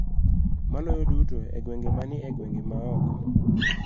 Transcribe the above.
Maloyo duto e gwenge ma ni e gwenge ma oko.